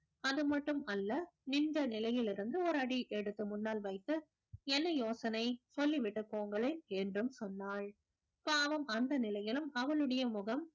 அது மட்டுமல்ல நின்ற நிலையிலிருந்து ஒரு அடி எடுத்து முன்னால் வைத்து என்ன யோசனை சொல்லி விட்டுப் போங்களேன் என்றும் சொன்னாள் பாவம் அந்த நிலையிலும் அவளுடைய முகம்